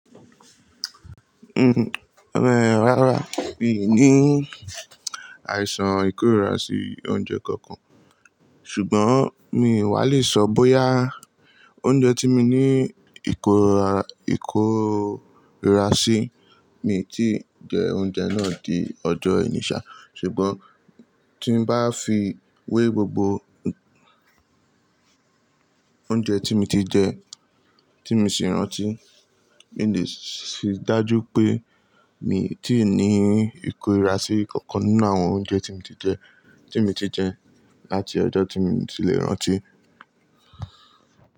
Uhm, ẹ̀, rárá mi ò ní àìsàn ìkórira sí oúnjẹ kankan. Ṣùgbọ́n mi wà lè sọ bóyá oúnjẹ tí mi ní ìkórira sí mi tí jẹ oúnjẹ náà di ọjọ́ ení ṣà. Ṣùgbọ́n tí n bá fi wé gbogbo oúnjẹ tí mo ti jẹ, tí mo sì rántí, mí lè fi dájú pé mi ò tí ì ní ìkórira sí kankan nínú àwọn oúnjẹ tí mo ti jẹ, tí mo ti jẹ láti ọjọ́ tí mo ti lè rántí.